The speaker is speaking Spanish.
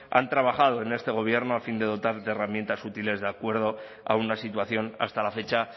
han trabajado en este gobierno a fin de dotar herramientas útiles de acuerdo a una situación hasta la fecha